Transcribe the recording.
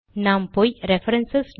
நாம் போய் ரெஃபரன்ஸ்